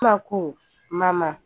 Kunba ko: Mama